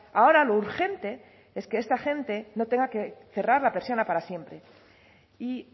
ahora lo urgente es que esta gente no tenga que cerrar la persiana para siempre y